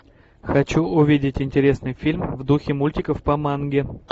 хочу увидеть интересный фильм в духе мультиков по манге